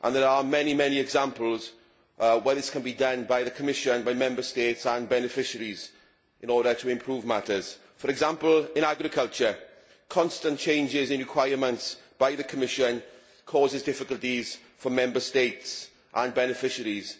There are many examples where this can be done by the Commission, by Member States and by beneficiaries in order to improve matters, for example, in agriculture. Constant changes in requirements by the Commission cause difficulties for Member States and beneficiaries